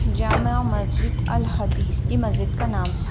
जामा मस्जित अल्ल हदीज ये मशीद का नाम है।